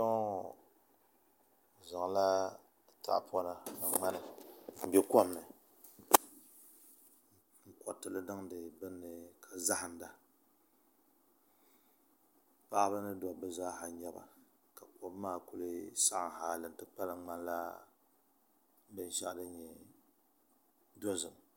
Kpɛŋŋo bi zaŋla tahapona ni ŋmana n bɛ kom ni n koritili niŋdi binni ka zahanda paɣaba ni dabba zaa n nyɛba ka kom maa ku saɣam hali n ti kpalim ŋmanila binsabinli dozim